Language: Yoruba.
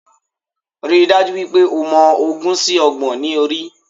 Ríi dájú wípé o mọ ogún sí Ọgbọ̀n ní orí